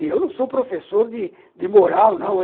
E eu não sou professor de de moral, não.